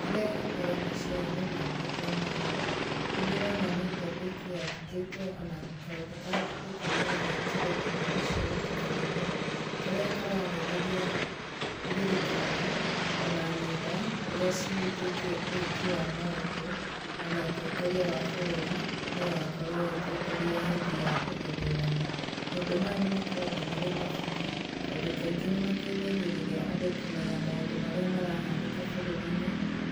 Kĩrĩa gĩũkaga meciria-inĩ makwa ndona ũũ, nĩ ndĩrona nĩ ngathĩti yandĩkĩtwo ona kaũndũ kandĩkĩtwo na gagekĩrwo nenda-inĩ cia ũkinyanĩria, karĩa kararĩrĩria thirikari, ona nenda, ũrĩa cihutĩtie wĩki wa maũndũ, ona ũtongoria wa bũrũri nũũ ũgakorwo ũgĩtongoria hĩndĩ ya gĩthurano. Maũndũ maya nĩ makoragwo marĩ ma bata, tondũ kaingĩ nĩ mateithagĩrĩria andũ kũmenya maũndũ marĩa marahanĩka bũrũri-inĩ,